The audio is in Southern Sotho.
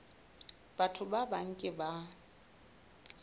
batho ba bang ke ba